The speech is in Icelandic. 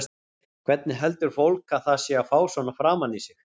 Hvernig heldur fólk að það sé að fá svona framan í sig?